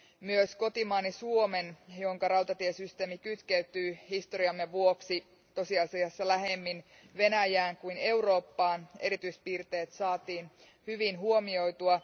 Myös kotimaani Suomen, jonka rautatiesysteemi kytkeytyy historiamme vuoksi tosiasiassa lähemmin Venäjään kuin Eurooppaan, erityispiirteet saatiin hyvin huomioitua.